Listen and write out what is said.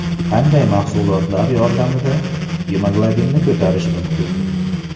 Qanday mahsulotlar yordamida gemoglobinni ko‘tarish mumkin?.